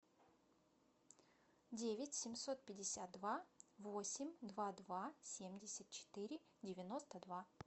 девять семьсот пятьдесят два восемь два два семьдесят четыре девяносто два